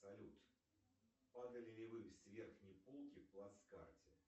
салют падали ли вы с верхней полки в плацкарте